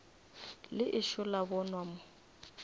le ešo la bonwa mo